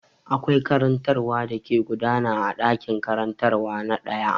Akwai karantarwa da ke gudana a ɗakin karantarwa na ɗaya.